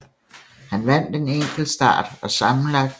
Han vandt en enkeltstart og sammenlagt